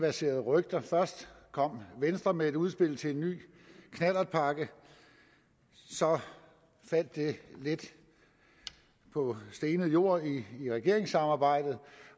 verseret rygter først kom venstre med et udspil til en ny knallertpakke så faldt det lidt på stenet jord i regeringssamarbejdet